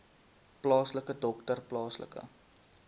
plaaslike dokter plaaslike